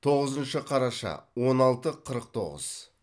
тоғызыншы қараша он алты қырық тоғыз